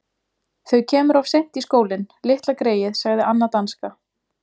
Þau kemur of seint í skólinn, litla greyið sagði Anna danska.